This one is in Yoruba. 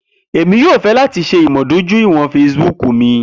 Emi yoo fẹ lati ṣe imudojuiwọn Facebook mi.